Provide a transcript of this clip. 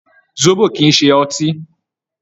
Sóbò̀ kì í ṣe ọtí.